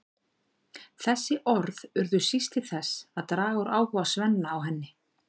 Þessi orð urðu síst til þess að draga úr áhuga Svenna á henni.